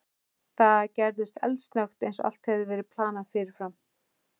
Það gerðist eldsnöggt, eins og allt hefði verið planað fyrirfram.